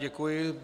Děkuji.